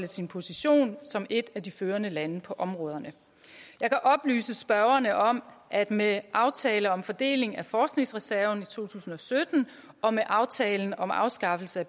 sin position som et af de førende lande på områderne jeg kan oplyse spørgerne om at med aftalen om fordeling af forskningsreserven i to tusind og sytten og med aftalen om afskaffelse